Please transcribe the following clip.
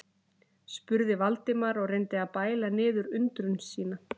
spurði Valdimar og reyndi að bæla niður undrun sína.